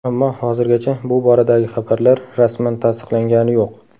Ammo hozirgacha bu boradagi xabarlar rasman tasdiqlangani yo‘q.